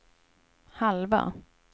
halva